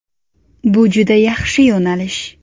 Bu juda yaxshi yo‘nalish.